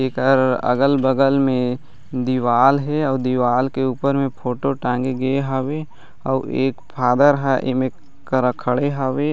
एकर अगल-बगल में दीवाल हे आऊ दीवाल के उपर में फोटो टांगे गए हावे आऊ एक फादर ह इमे करा खड़े हावे।